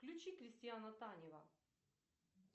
включи кристиана танева